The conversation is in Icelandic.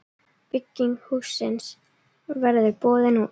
Bygging hússins verður boðin út.